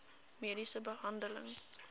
mediese behandeling